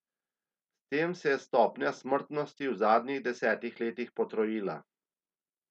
S tem se je stopnja smrtnosti v zadnjih desetih letih potrojila.